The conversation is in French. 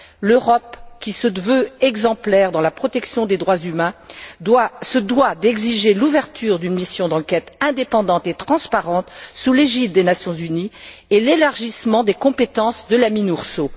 L'Europe, qui se veut exemplaire dans la protection des droits humains, se doit d'exiger l'ouverture d'une mission d'enquête indépendante et transparente, sous l'égide des Nations unies, et l'élargissement des compétences de la MINURSO.